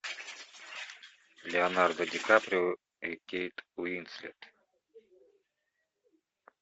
леонардо ди каприо и кейт уинслет